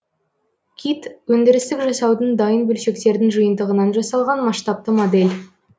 кит өндірістік жасаудың дайын бөлшектердің жиынтығынан жасалған масштабты модель